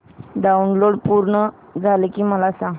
download पूर्ण झालं की मला सांग